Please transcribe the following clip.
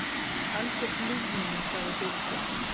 Algjört ljúfmenni, sagði Birgir.